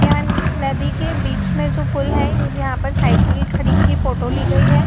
यहॉं नदी के बीच में जो पुल है यहॉं पर साइकिल खड़ी की फोटो ली गई है।